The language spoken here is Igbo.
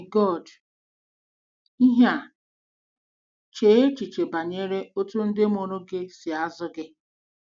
MEGODỊ IHE A: Chee echiche banyere otú ndị mụrụ gị si azụ gị.